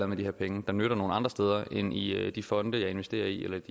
med de her penge der nytter nogle andre steder end i de fonde jeg investerer i eller